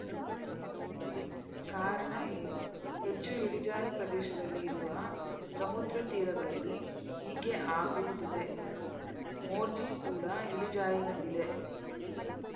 ಕಾರಣ ಏನು ಹೆಚ್ಚು ಇಳಿಜಾರು ಪ್ರದೇಶದಲ್ಲಿ ಇರುವ ಸಮುದ್ರ ತೀರಗಳಲ್ಲಿ ಹೀಗೆ ಆಗುವುದಿದೆ ಮೋರ್ಜಿ ಕೂಡ ಇಳಿಜಾರಿನಲ್ಲಿದೆ